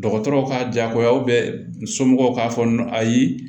Dɔgɔtɔrɔw ka jagoya somɔgɔw k'a fɔ n ye